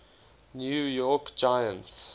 new york giants